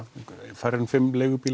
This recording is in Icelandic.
færri en fimm